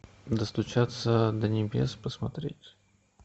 достучаться до небес посмотреть